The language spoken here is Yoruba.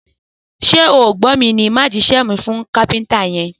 Sẹ o gbọ mi ni! Mà jisẹ mí fún kàpẹńtà yen.